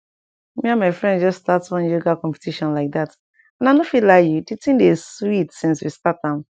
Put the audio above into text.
me and my friends just start one yoga competition like that and i not fit lie you di thing dey sweet since we start am